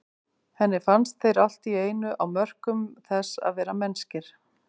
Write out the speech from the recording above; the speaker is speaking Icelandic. Henni fannst þeir allt í einu á mörkum þess að vera mennskir.